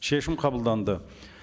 шешім қабылданды